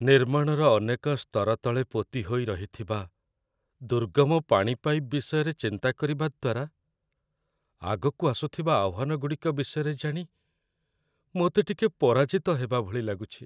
ନିର୍ମାଣର ଅନେକ ସ୍ତର ତଳେ ପୋତି ହୋଇ ରହିଥିବା ଦୁର୍ଗମ ପାଣି ପାଇପ୍ ବିଷୟରେ ଚିନ୍ତା କରିବା ଦ୍ୱାରା, ଆଗକୁ ଆସୁଥିବା ଆହ୍ୱାନଗୁଡ଼ିକ ବିଷୟରେ ଜାଣି ମୋତେ ଟିକେ ପରାଜିତ ହେବାଭଳି ଲାଗୁଛି।